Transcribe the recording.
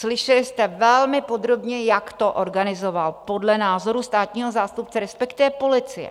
Slyšeli jste velmi podrobně, jak to organizoval podle názoru státního zástupce, respektive policie.